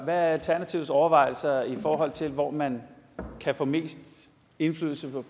er alternativets overvejelser i forhold til hvor man kan få mest indflydelse